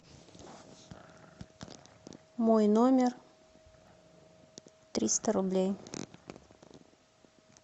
мой номер триста рублей